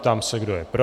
Ptám se, kdo je pro.